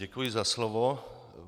Děkuji za slovo.